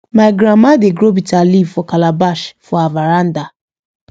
my grandma dey grow bitter leaf for calabash for her veranda